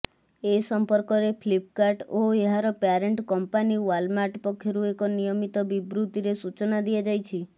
ଏ ସମ୍ପର୍କରେ ଫ୍ଲିପ୍କାର୍ଟ ଓ ଏହାର ପ୍ୟାରେଣ୍ଟ କମ୍ପାନୀ ୱାଲମାର୍ଟ ପକ୍ଷରୁ ଏକ ମିଳିତ ବିବୃତିରେ ସୂଚନା ଦିଆଯାଇଛି